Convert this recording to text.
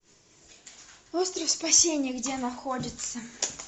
остров спасения где находится